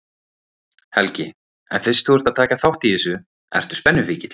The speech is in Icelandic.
Helgi: En fyrst þú ert að taka þátt í þessu, ertu spennufíkill?